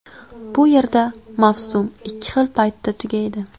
Bu yerda mavsum ikki xil paytda tugaydi.